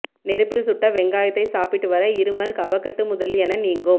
நெருப்பில் சுட்ட வெங்காயத்தை சாப்பிட்டு வர இருமல் கபக்கட்டு முதலியன நீங்கும்